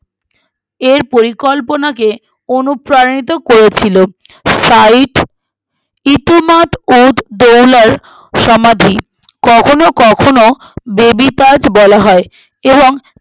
এর পরিকল্পনাকে অনুপ্রাণিত করেছিল sight ইতিমাদ-উদ-দৌলা সমাধি কখনো কখনো baby তাজ বলা হয় এবং